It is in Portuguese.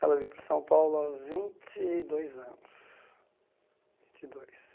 Ela veio para São Paulo aos vinte e dois anos. Vinte e dois